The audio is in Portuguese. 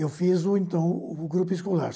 Eu fiz, o então, o grupo escolar.